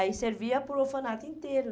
Aí servia para o orfanato inteiro.